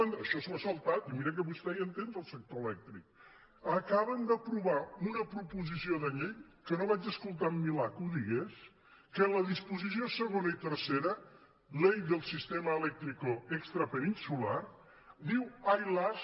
això s’ho ha saltat i miri que vostè hi entén del sector elèctric acaben d’aprovar una proposició de llei que no vaig escoltar en milà que ho digués que en les disposicions segona i tercera ley del sistema eléctrico extrapeninsular diu ai las